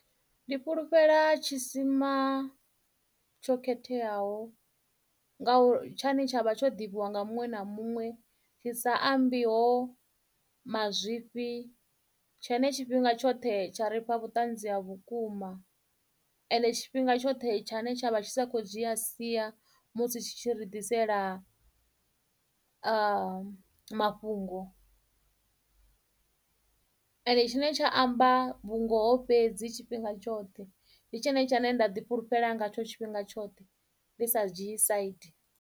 Ndi fhulufhela tshisima tsho khetheaho nga tshine tshavha tsho ḓivhiwa nga muṅwe na muṅwe tshi sa ambiho mazwifhi tshine tshifhinga tshoṱhe tsha ri fha vhuṱanzi ha vhukuma ende tshifhinga tshoṱhe tshine tshavha tshi sa kho dzhia sia musi tshi tshi ri ḓisela mafhungo ende tshine tsha amba vhungoho fhedzi tshifhinga tshoṱhe ndi tshone tshine nda ḓifhulufhela ngatsho tshifhinga tshoṱhe ndi sa dzhie side.